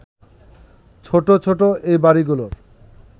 ছোট ছোট এই বাড়িগুলোর